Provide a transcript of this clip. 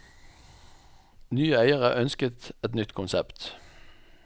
Nye eiere ønsket et nytt konsept.